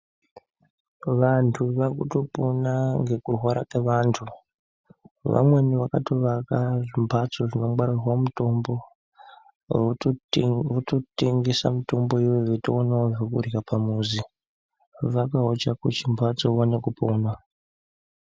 Vantu vaakutopona ngekurwara kwevantu vamweni vakatovaka zvimbatso zvinongwarirwa mutombo vototengesa mutombo iyoyo veitoonawo zvekurya pamuzi. Vakawo chako chimbatso uone kupona.